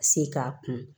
Se k'a kun